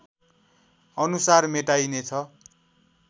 अनुसार मेटाइनेछ